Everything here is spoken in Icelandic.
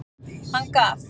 Hann gaf.